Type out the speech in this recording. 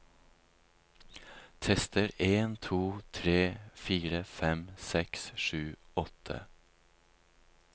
Tester en to tre fire fem seks sju åtte